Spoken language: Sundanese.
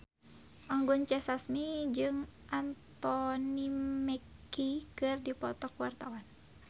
Anggun C. Sasmi jeung Anthony Mackie keur dipoto ku wartawan